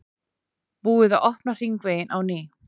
Búið að opna hringveginn á ný